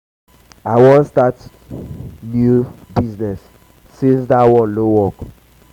i wan start new wan start new business since dat one no work